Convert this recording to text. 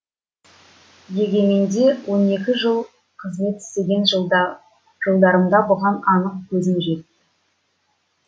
егеменде он екі жыл қызмет істеген жылда жылдарымда бұған анық көзім жетті